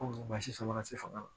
Ko basi sama ka se fanga ma